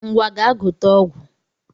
Ngwa gaa gote ọgwụ